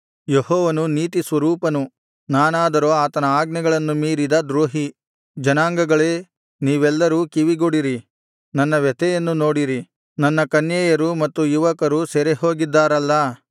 ಯೆಹೋವನು ನೀತಿಸ್ವರೂಪನು ನಾನಾದರೋ ಆತನ ಆಜ್ಞೆಗಳನ್ನು ಮೀರಿದ ದ್ರೋಹಿ ಜನಾಂಗಗಳೇ ನೀವೆಲ್ಲರೂ ಕಿವಿಗೊಡಿರಿ ನನ್ನ ವ್ಯಥೆಯನ್ನು ನೋಡಿರಿ ನನ್ನ ಕನ್ಯೆಯರು ಮತ್ತು ಯುವಕರು ಸೆರೆಹೋಗಿದ್ದಾರಲ್ಲಾ